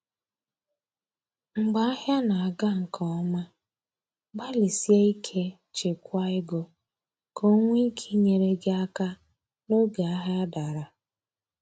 Mgbe ahịa na aga nke ọma, gbalịsie ike chekwaa ego, ka o nwee ike inyere gị aka n’oge ahịa dara